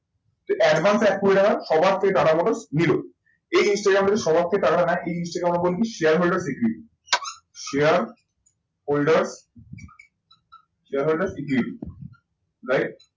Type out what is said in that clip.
Advance এ এক কোটি টাকা সবার থেকে টাটা মোটরস নিলো। এই জিনিসটাকে আমরা বলি সবার থেকে টাকাটা নেয় এই জিনিসটাকে আমরা বলি shareholder share holder share holder right